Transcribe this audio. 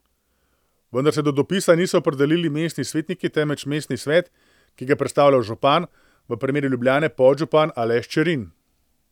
Vendar se do dopisa niso opredelili mestni svetniki temveč mestni svet, ki ga predstavlja župan, v primeru Ljubljane podžupan Aleš Čerin.